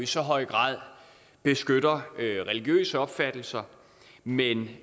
så høj grad beskytter religiøse opfattelser men